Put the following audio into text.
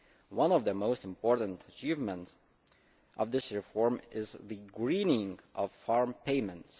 One of the most important achievements of this reform is the greening of farm payments.